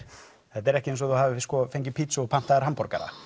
þetta er ekki eins og þú hafir fengið pítsu þegar þú pantaðir hamborgara